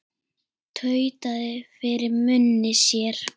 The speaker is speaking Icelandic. Tautaði fyrir munni sér.